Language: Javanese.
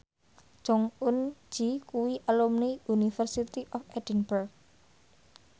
Jong Eun Ji kuwi alumni University of Edinburgh